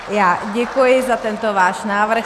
Já děkuji za tento váš návrh.